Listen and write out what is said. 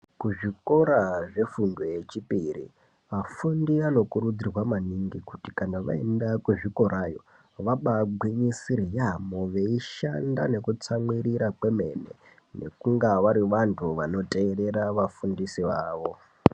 Kuzvikora zvefundo yechipiri afundi anokurudzirwa maningi kuti kana vaenda kuzvikorayo vabagwinyisira veishanda nekutsamwirira kwemene vange vari vantu vanoteerera vafundisi vavo.